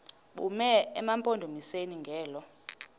bume emampondomiseni ngelo